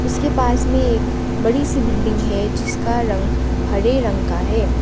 उसके पास मे एक बड़ी सी बिल्डिंग है जिसका रंग हरे रंग का है।